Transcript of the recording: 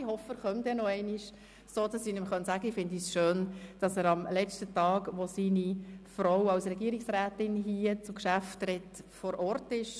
Ich hoffe, er komme noch einmal, sodass ich ihm sagen kann, ich fände es schön, dass er am letzten Tag vor Ort ist, wenn seine Frau im Grossen Rat als Regierungsrätin zu Geschäften spricht.